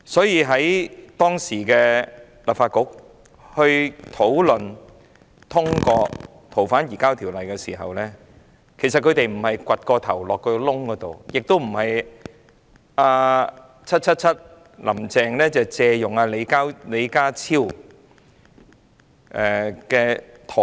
因此，當時的立法局討論並通過《條例》時，他們並非挖了一個洞把頭埋進去，亦並非一如 "777" 林鄭月娥借用李家超的說法，是"鴕鳥"。